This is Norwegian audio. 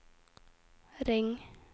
ring